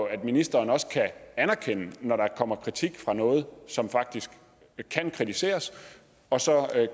at ministeren også kan anerkende når der kommer kritik af noget som faktisk kan kritiseres og så